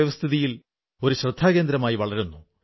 ആദരവോടെ അവർക്ക് ശ്രദ്ധാഞ്ജലിയേകുന്നു